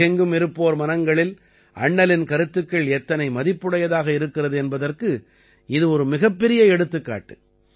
உலகெங்கும் இருப்போர் மனங்களில் அண்ணலின் கருத்துக்கள் எத்தனை மதிப்புடையதாக இருக்கிறது என்பதற்கு இது ஒரு மிகப்பெரிய எடுத்துக்காட்டு